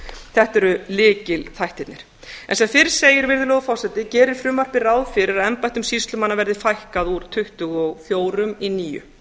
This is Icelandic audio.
þetta eru lykilþættirnir sem fyrr segir virðulegur forseti gerir frumvarpið ráð fyrir að embættum sýslumanna verði fækkað úr tuttugu og fjórum í níu